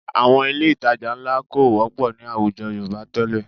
Àwọn ilé ìtajà ńlá kò wọ́pọ̀ ní àwùjọ Yorùbá tẹ́lẹ̀